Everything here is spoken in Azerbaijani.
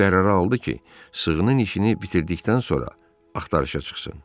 O qərarı aldı ki, sığının işini bitirdikdən sonra axtarışa çıxsın.